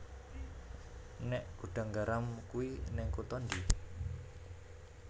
Nek Gudang Garam kui ning kuto ndi?